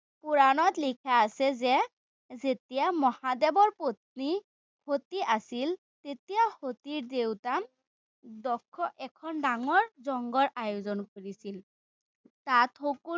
পুৰাণত লিখা আছে যে যেতিয়া মহাদেৱৰ পত্নী সতী আছিল, তেতিয়া সতীৰ দেউতা দক্ষৰ এখন ডাঙৰ লংগৰ আয়োজন কৰিছিল। তাত সকলো